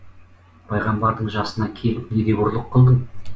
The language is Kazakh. пайғамбардың жасына келіп не деп ұрлық қылдың